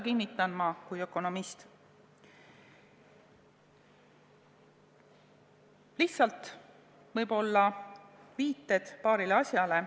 Nüüd aga võib-olla viited paarile asjale.